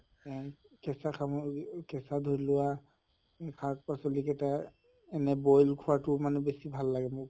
উম কেচা কেচা শাক পাচলি কেটা boil খোৱাতো মানে বেছি ভাল লাগে মোক।